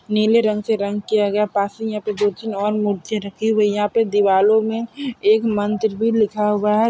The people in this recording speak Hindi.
नीले रंग से रंग किया गया है पास में यहाँ पे दो-तीन और मूर्तियां रखी हुई है यहाँ पे दिवालो में एक मंत्र भी लिखा हुआ है ।